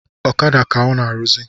Ọkada ka ọ na-arụzị